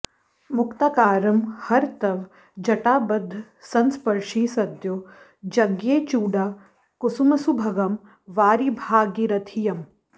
मुक्ताकारं हर तव जटाबद्धसंस्पर्शि सद्यो जज्ञे चूडा कुसुमसुभगं वारि भागीरथीयम्